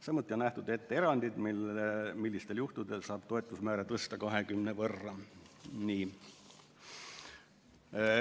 Samuti on nähtud ette erandid, millistel juhtudel saab toetusmäära tõsta 20% võrra.